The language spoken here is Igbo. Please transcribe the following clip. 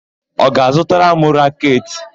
Ọ ga-azụtara m raketị?